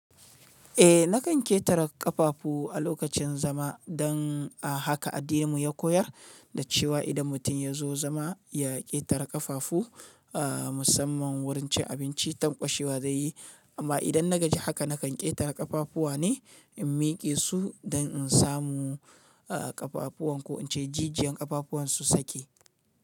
Eh nakan ƙetare ƙafafu a lokacin zama don a haka addininmu ya koyar da cewa idan mutum ya zo zama ya ƙetare ƙafafu a musamman wurin cin abinci, tanƙwashewa zai yi. Amma idan na gaji haka nakan ƙetare ƙafafuwa ne in mike su don in samu ƙafafuwan ko ince jijiyan ƙafafuwan su sake.